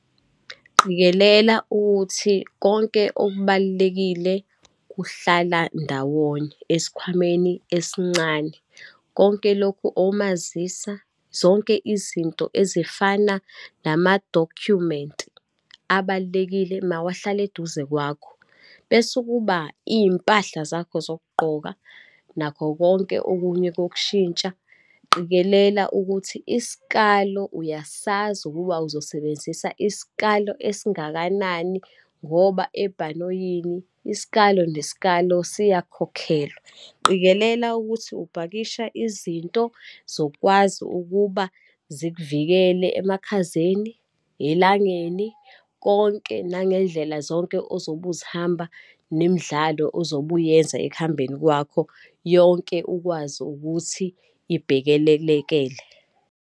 Qikelela ukuthi konke okubalulekile kuhlala ndawonye esikhwameni esincane, konke lokhu omazisa, zonke izinto ezifana namadokhumenti abalulekile mawahlale eduze kwakho. Bese kuba iy'mpahla zakho zokugqoka nakho konke okunye kokushintsha. Qikelela ukuthi isikalo uyasazi ukuba uzosebenzisa isikalo esingakanani, ngoba ebhanoyini isikalo nesikalo siyakhokhelwa. Qikelela ukuthi upakisha izinto zokwazi ukuba zikuvikele emakhazeni, elangeni, konke nangendlela zonke ozobe uzihamba, nemidlalo ozobe uyenza ekuhambeni kwakho yonke ukwazi ukuthi ibhekelelekele.